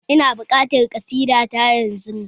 Ina buƙatar ƙasida ta yanzu!